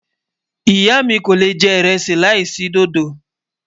ìyá mí kò lè jẹ iresi là isi dòdó